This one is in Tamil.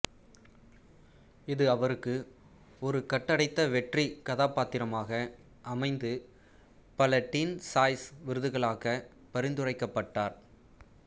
இது அவருக்கு ஒரு கட்டுடைத்த வெற்றிக் கதாபாத்திரமாக அமைந்து பல டீன் சாய்ஸ் விருதுகளுக்காகப் பரிந்துரைக்கப்பட்டார்